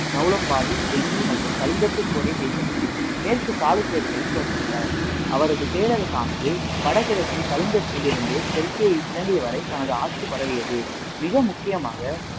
நொளம்பாடி, வெங்கி மற்றும் கலிங்கத்து போரை கைப்பற்றி, மேற்கு சாளுக்கியர்களை தோற்கடித்தார். அவரது பேரரசானது வடகிழக்கில் கலிங்கத்திலிருந்து தெற்கே இலங்கை வரை தனது ஆட்சி பரவியது. மிக முக்கியமாக,